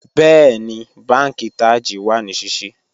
Bẹ̀ẹni, bánkì Taj wa ní síṣí